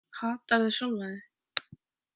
Hatarðu sjálfan þig?